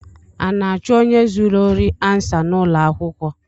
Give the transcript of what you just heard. A na-achụ onye zuru ori ansa n’ụlọakwụkwọ?